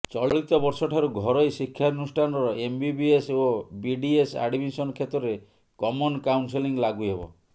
ଚଳିତବର୍ଷଠାରୁ ଘରୋଇ ଶିକ୍ଷାନୁଷ୍ଠାନର ଏମ୍ବିବିଏସ୍ ଓ ବିଡିଏସ୍ ଆଡମିଶନ କ୍ଷେତ୍ରରେ କମନ କାଉନ୍ସେଲିଂ ଲାଗୁ ହେବ